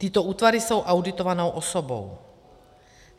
Tyto útvary jsou auditovanou osobou.